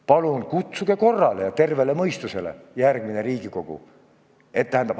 Palun lööge kord majja ja kutsuge üles tervele mõistusele, järgmine Riigikogu!